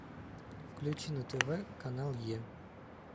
включи на тв канал е